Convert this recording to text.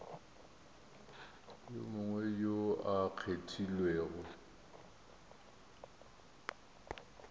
yo mongwe yo a kgethilwego